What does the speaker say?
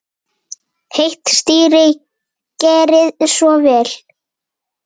Heitt stýri, gerið svo vel.